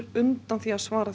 undan því að svara